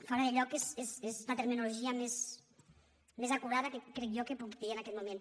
fora de lloc és la terminologia més acurada que crec jo que puc dir en aquest moment